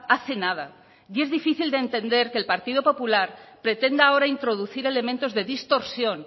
hace nada y es difícil de entender que el partido popular pretenda ahora introducir elementos de distorsión